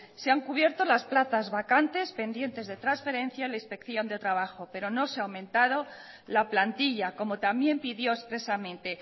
se han cubierto las plazas vacantes pendientes de transferencia a la inspección de trabajo pero no se ha aumentado la plantilla como también pidió expresamente